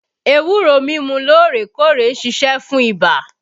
Ewúro mímu loorekoore ń ṣiṣẹ́ fún ibà